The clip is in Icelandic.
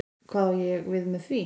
Hvað á ég við með því?